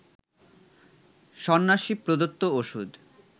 সন্ন্যাসী প্রদত্ত ওষুধ